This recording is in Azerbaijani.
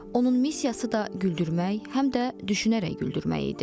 Onun missiyası da güldürmək, həm də düşünərək güldürmək idi.